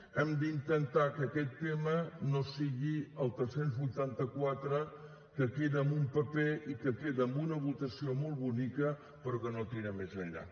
hem d’intentar que aquest tema no sigui el tres cents vuitanta quatre que queda en un paper i que queda en una votació molt bonica però que no tira més enllà